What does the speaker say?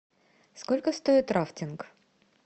сколько стоит рафтинг